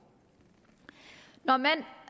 når man